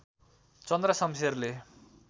चन्द्र शमशेरले